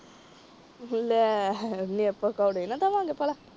ਲੈ ਆਪਾ ਪਕੌੜੇ ਦੇਵਾਂਗੇ ਭਲਾ।